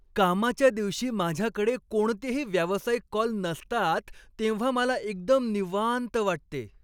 कामाच्या दिवशी माझ्याकडे कोणतेही व्यावसायिक कॉल नसतात तेव्हा मला एकदम निवांत वाटते.